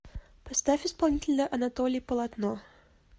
поставь исполнителя анатолий полотно